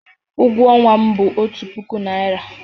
Ụgwọ ọnwa m bụ otu puku naira.